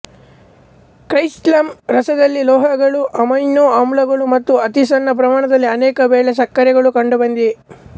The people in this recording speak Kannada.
ಕ್ಸೈಲಂ ರಸದಲ್ಲಿ ಲೋಹಗಳು ಅಮೈನೋ ಆಮ್ಲಗಳು ಮತ್ತು ಅತಿ ಸಣ್ಣ ಪ್ರಮಾಣದಲ್ಲಿ ಅನೇಕ ವೇಳೆ ಸಕ್ಕರೆಗಳೂ ಕಂಡುಬಂದಿವೆ